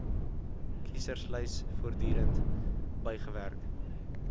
kieserslys voortdurend bygewerk